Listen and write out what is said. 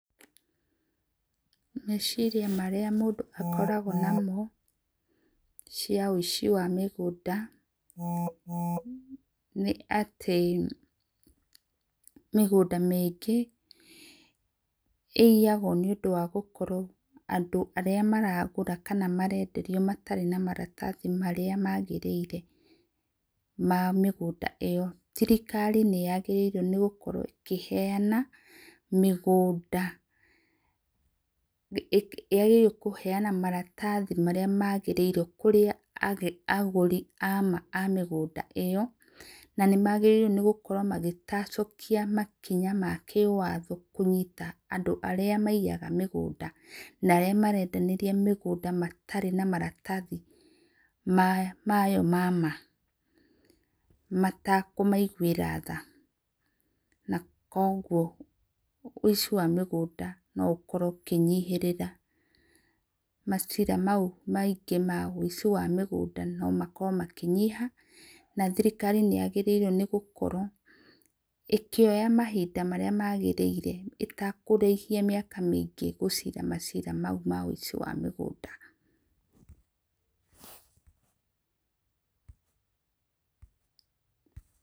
Mecirĩa marĩa mũndũ akoragwo namo cia ũici wa mĩgũnda nĩ atĩ mĩgũnda mĩingĩ ĩiyagwo nĩ gũkorwo andũ arĩa maragũra kana marenderĩo matarĩ na maratathĩ marĩa magĩrĩire ma mĩgũnda ĩyo. Thĩrikari nĩ yagĩriĩre gũkorwo ĩkĩheana mĩgũnda yagĩrĩrĩo kũheana maratathĩ marĩa maagĩrĩirwo kũrĩa agũrĩre a mũgũnda ĩyo na nĩ magĩrĩrwo nĩ gũkora makĩtacukĩa makĩnya ma kĩwatho kũnyĩta andũ arĩa maĩyaga mũgũnda, na arĩa maraendanĩrĩa mĩgũnda matarĩ na maratathĩ mayo ma ma matakũmaigũĩra tha na kwogwo ũici wa mĩgũnda ũkorwo ũkĩnyĩhĩrĩra macira maũ maĩngĩ ma ũici wa mĩgũnda nũ makorwo makĩnyĩha, na thĩrĩkarĩ nĩyagĩrĩirwo nĩ gũkorwo ĩkĩoya mahĩnda marĩa maagĩrĩire ĩtakũrahĩa mĩaka mĩingĩ gũcira macira maũ ma ũici wa mĩgũnda.